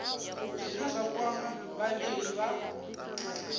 zwine zwa kwama vhavhali vha